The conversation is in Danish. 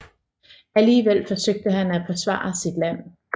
Alligevel forsøgte han at forsvare sit land